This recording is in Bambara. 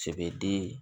Cɛbidi